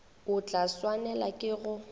o tla swanela ke go